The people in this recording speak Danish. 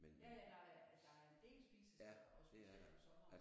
Ja ja nej der er en del spisesteder og specielt om sommeren